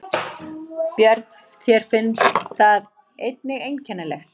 Björn: Þér finnst það einnig einkennilegt?